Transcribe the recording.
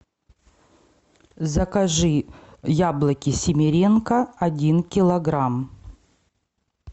закажи яблоки семеренко один килограмм